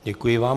Děkuji vám.